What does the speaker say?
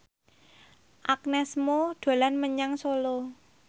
Agnes Mo dolan menyang Solo